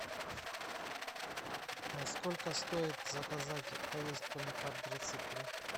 сколько стоит заказать поездку на квадроцикле